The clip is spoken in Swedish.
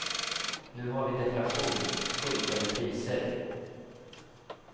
Nu har vi deflation, sjunkande priser.